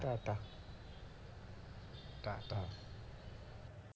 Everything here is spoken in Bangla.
টাটা